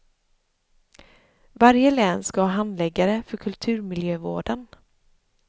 Varje län ska ha handläggare för kulturmiljövården.